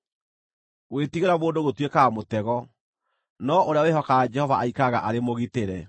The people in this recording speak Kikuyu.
Gwĩtigĩra mũndũ gũtuĩkaga mũtego, no ũrĩa wĩhokaga Jehova aikaraga arĩ mũgitĩre.